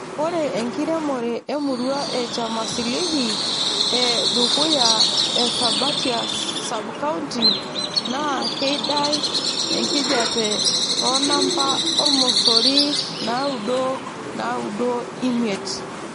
Ore enkiremore e murua e chamasilihi e lyaduywa te Sabatia sub county NAA keidai enkijape too namba e ormosori naudo naaudo imiet.